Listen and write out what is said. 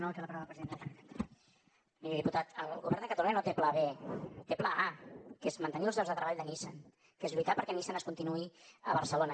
miri diputat el govern de catalunya no té pla b té pla a que és mantenir els llocs de treball de nissan que és lluitar perquè nissan continuï a barcelona